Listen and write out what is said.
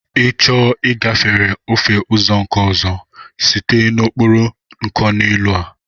I chọọ ịgafere ofe ụzọ nke ọzọ, site n'okporo nkoneelu a!